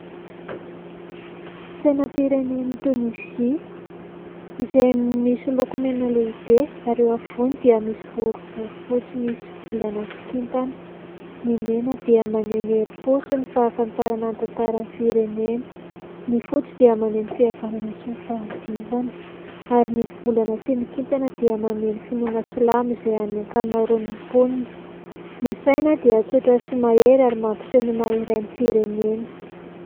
Sainam-pireneny tonizia izay misy loko mena lehibe ary eo ampivony dia misy boribory fotsy misy volana sy kintana n'y mena dia maneho ny herim-po sy ny fahafantarana ny tantara ny firenena, ny fotsy dia maneho ny fihavanana sy ny fahadiovana ary ny volana sy ny kintana dia maneho ny finoana silamo izay any an-kamarony mponina, ny saina dia tsotra sy mahery ary mampiseho ny maha iray ny firenena.